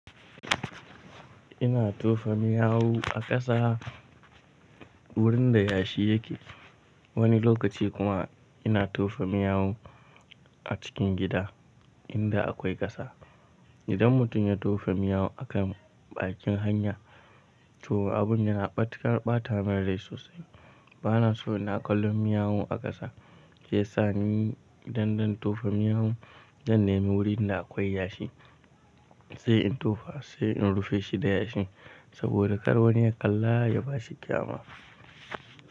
Ina tofa miyau a ƙasa wurin da yashi yake, wani lokaci kuma ina tofa miyau a cikin gida inda akwai ƙasa. Idan mutum ya tofa miyau a kan bakin hanya to abun yana matuƙar ɓata min rai sosai. Bana so ina kallon miyau a ƙasa, shiyasa ni idan zan tofa miyau, zan nemi wuri in da akwai yashi, sai in tofa sai in rufe shi da yashin. Saboda kar wani ya kalla ya bashi kyama.